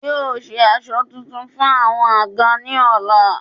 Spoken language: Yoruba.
Yóò se aṣọ tuntun fún àwọn àga ni ọ̀la